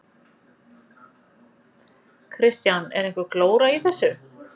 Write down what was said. Kristján: Er einhver glóra í þessu?